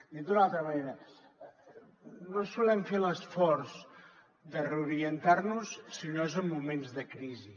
dit d’una altra manera no solem fer l’esforç de reorientar nos si no és en moments de crisi